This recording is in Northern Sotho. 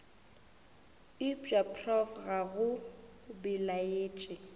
eupša prof ga go belaetše